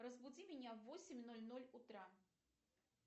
разбуди меня в восемь ноль ноль утра